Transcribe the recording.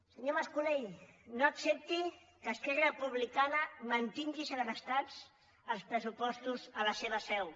senyor mas colell no accepti que esquerra republicana mantingui segrestats els pressupostos a la seva seu